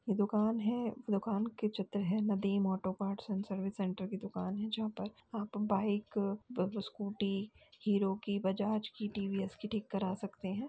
ये दुकान है। दुकान के चित्र हैं। Nadeem auto parts and service centre की दुकान है। जहां पर आप बाइक ब ब स्कूटी हीरो की बजाज की टीवीएस की ठीक करा सकते हैं।